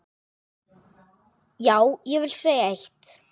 Já, ég vil segja eitt!